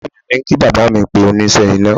Ìyá mi ní kí bàbá pe oníṣẹ́ iná